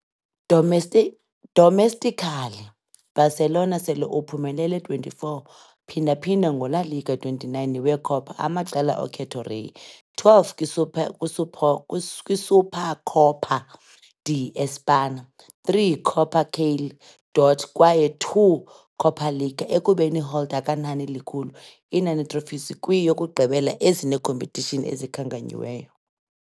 Domesti omestically, Barcelona sele uphumelele 24 phinda-phinda ngo La Liga 29 we - Copa amaqela okhetho Rey, 12 kwi - Super kwi - Supercopa de españa, 3 Copa Kalle Duarte kwaye 2 Copa Liga, ekubeni holder ka-nani likhulu inani trophies kwi-yokugqibela ezine competitions ezikhankanyiweyo.